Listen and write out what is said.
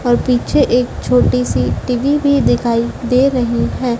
और पीछे एक छोटीसी टी_वी भी दिखाई दे रही हैं।